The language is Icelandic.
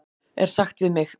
er sagt við mig?